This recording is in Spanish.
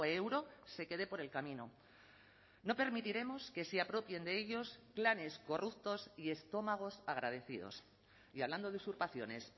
euro se quede por el camino no permitiremos que se apropien de ellos planes corruptos y estómagos agradecidos y hablando de usurpaciones